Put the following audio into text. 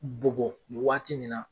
Bɔgɔ waati min na